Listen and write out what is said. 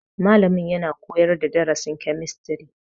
Malamin yana koyar da darasin kemistri.